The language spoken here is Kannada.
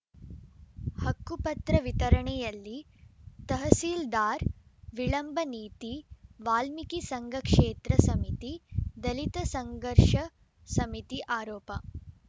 ಹಕ್ಕುಪತ್ರ ವಿತರಣೆಯಲ್ಲಿ ತಹಸೀಲ್ದಾರ್‌ ವಿಳಂಬ ನೀತಿ ವಾಲ್ಮೀಕಿ ಸಂಘ ಕ್ಷೇತ್ರ ಸಮಿತಿ ದಲಿತ ಸಂಘರ್ಷ ಸಮಿತಿ ಆರೋಪ